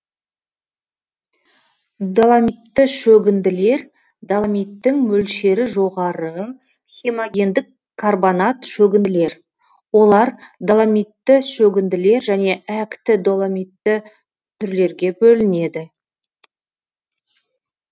доломитті шөгінділер доломиттің мөлшері жоғары хемогендік карбонат шөгінділер олар доломитті шөгінділер және әкті доломитті түрлерге бөлінеді